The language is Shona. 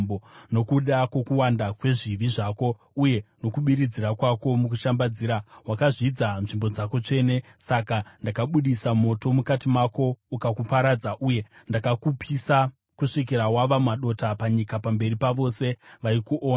Nokuda kwokuwanda kwezvivi zvako, uye nokubiridzira kwako mukushambadzira, wakazvidza nzvimbo dzako tsvene. Saka ndakaita kuti moto ubude kubva mauri, ukakuparadza, uye ndakakupisa kusvikira wava madota panyika, pamberi pavose vaikuona.